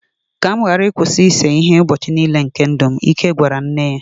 ka m ghara ịkwụsị ịse ihe ụbọchị nile nke ndụ m, Ike gwara nne ya